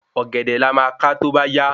Ògèdè la má ka tóbá yá